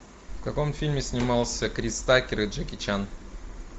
в каком фильме снимался крис такер и джеки чан